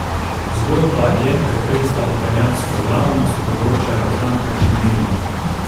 Zgodba je pretresla italijansko javnost, poročajo tamkajšnji mediji.